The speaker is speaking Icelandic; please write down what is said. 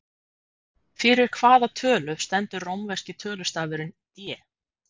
Fyrir hvaða tölu stendur rómverski tölustafurinn D?